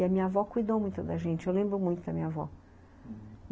E a minha avó cuidou muito da gente, eu lembro muito da minha avó.